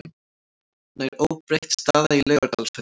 Nær óbreytt staða í Laugardalshöllinni